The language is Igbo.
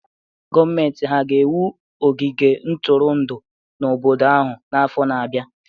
Gọọmenti hà ga-ewu ogige ntụrụndụ n'obodo ahụ n'afọ na-abịa?